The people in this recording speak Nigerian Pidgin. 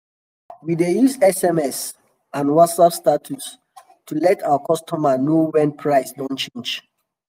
we dey use sms and whatsapp status to let our customers know wen price don change.